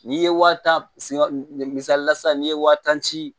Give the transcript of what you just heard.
N'i ye wa tan si misalila sisan n'i ye wa tan ci